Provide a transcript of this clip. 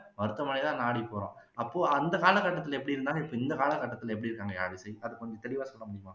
மருத்துவமனையை தான் நாடி போவோம் அப்போ அந்த காலக்கட்டத்துல எப்படி இருந்தாங்க இப்போ இந்த காலக்கட்டத்துல எப்படி இருக்காங்க யாழிசை அதை கொஞ்சம் தெளிவா சொல்ல முடியுமா